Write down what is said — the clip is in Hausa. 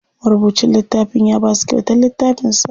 Marubucin littafin ya basu kyautar littafin sa.